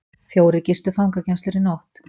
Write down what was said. Fjórir gistu fangageymslur í nótt